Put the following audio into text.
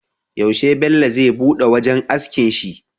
Yaushe Bello zai buɗe wajan askin shi?